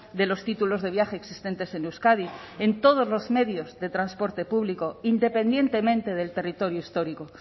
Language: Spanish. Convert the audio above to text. de los títulos de viaje existentes en euskadi en todos los medios de transporte público independientemente del territorio histórico